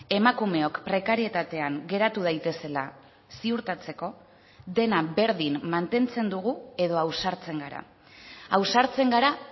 emakumeok prekarietatean geratu daitezela ziurtatzeko dena berdin mantentzen dugu edo ausartzen gara ausartzen gara